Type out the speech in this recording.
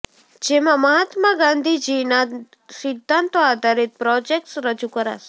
જેમાં મહાત્મા ગાંધીજીના સિદ્ધાંતો આધારીત પ્રોજેકટસ રજુ કરાશે